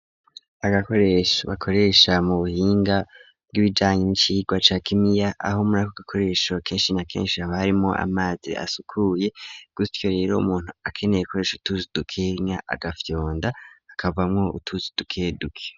Agakoresho bakoresha mu buhinga bwibijanya n'icirwa ca gimiya aho murako gakoresho kenshi na kenshi haba harimwo amazi asukuye gutyo rero umuntu akeneye koresha utuzi dukenya agafyonda hakavamwo utuzi dukeduke.